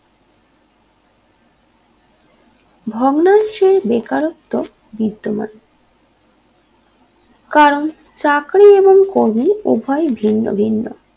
ভগ্নাংশে বেকারত্ব বিদ্যমান কারণ চাকরি এবং কর্মী উভয় ভিন্ন ভিন্ন